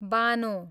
Bano